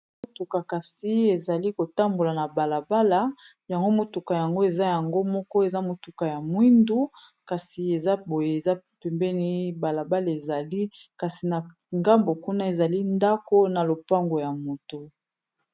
Motuka kasi ezali kotambola na balabala yango motuka yango eza yango moko eza motuka ya mwindu kasi eza boye eza pembeni balabala ezali kasi na ngambo kuna ezali ndako na lopango ya moto.